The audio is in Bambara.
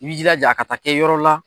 I bi jilaja a ka taa kɛ yɔrɔ la.